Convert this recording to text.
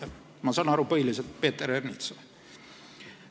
Ma saan aru, et põhiliselt Peeter Ernitsale.